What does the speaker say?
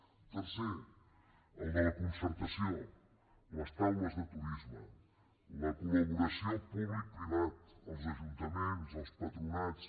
tercer el de la concertació les taules de turisme la col·laboració publicoprivada els ajuntaments els patronats